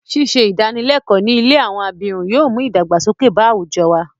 Ṣíṣe ìdánilẹ́kọ̀ọ́ ní ilé àwọn abirùn yóò mú ìdàgbàsókè bá àwùjọ wa.